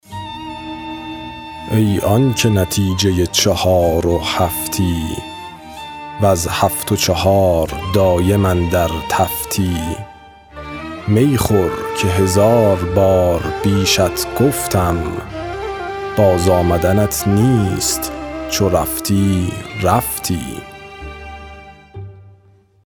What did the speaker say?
ای آنکه نتیجه چهار و هفتی وز هفت و چهار دایم اندر تفتی می خور که هزار بار بیشت گفتم باز آمدنت نیست چو رفتی رفتی